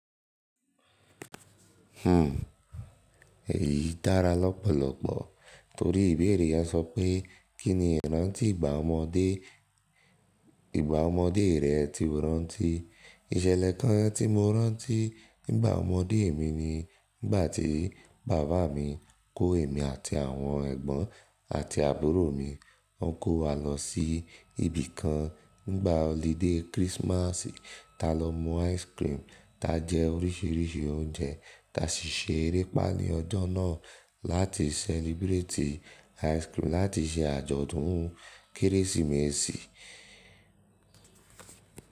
Hmm, èyí dára lọ́pọ̀lọ́pọ̀ torí ìbéèrè yẹn sọ pé kí ni ìrántí ìgbà ọmọdé, ìgbà ọmọdé rẹ ti o rántí? Ìṣẹlẹ kan tí mo rántí nígbà ọmọdé mi ni nígbà tí bàbá mi kó èmi àti àwọn ẹ̀gbọ́n àti àbúrò mi, ó kó wa lọ sí ibi kan nígbà ọlidé kírísímásì ta lọ mu ice cream, ta jẹ oríṣìíríṣìí oúnjẹ ta sì ṣe erépá ní ọjọ́ náà láti celebrate ice cream láti ṣe àjọ̀dún kérésìmesì.